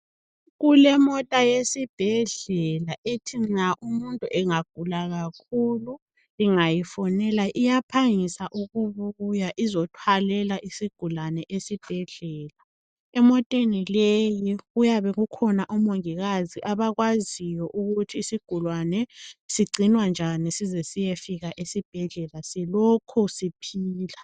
Kule mota yesibhedlela ethi nxa umuntu engagula kakhulu bengayifonela iyaphangisa ukubuya izothwalela isugulane esibhedlela emoteni leyi kuyabe kukhona omongikazi abakwaziyo ukuthi isigulane sigcinwa njani size siyefika esibhedlela silokhu siphila.